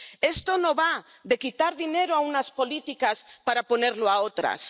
Esto no va de quitar dinero a unas políticas para ponerlo a otras.